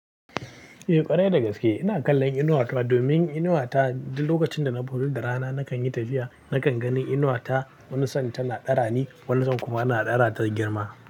Eh ƙwarai da gaske. Ina kallon inuwar ta domin inuwar ta duk lokacin da na fito da rana nakan yi tafiya, nakan gani inuwar ta wani sa'in tana dara ni, wani sa'in kuma ana dara ta girma.